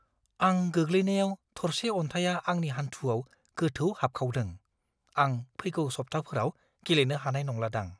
आं गोग्लैनायाव थरसे अन्थाइआ आंनि हान्थुआव गोथौ हाबखावदों। आं फैगौ सब्थाफोराव गेलेनो हानाय नंलादां।